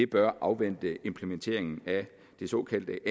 bør afvente implementeringen af det såkaldte